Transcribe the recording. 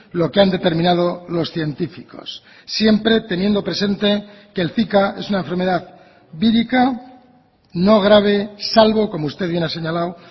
lo que han determinado los científicos siempre teniendo presente que el zika es una enfermedad vírica no grave salvo como usted bien ha señalado